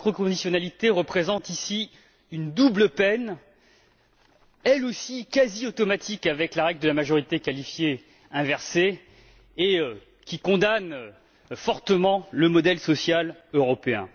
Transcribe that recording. La macro conditionnalité représente à cet égard une double peine, elle aussi, quasi automatique avec la règle de la majorité qualifiée inversée, et qui condamne fortement le modèle social européen.